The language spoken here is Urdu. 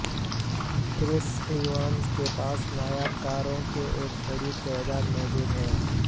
کرس ایونز کے پاس نایاب کاروں کی ایک بڑی تعداد موجود ہے